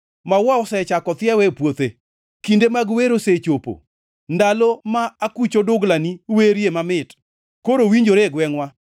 Maua osechako thiewo e puothe; kinde mag wer osechopo, ndalo ma akuch oduglani werie mamit koro winjore e gwengʼwa.